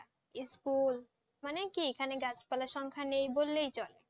School মানে কি এখানে গাছপালার সংখ্যা নেই বললেই চলে,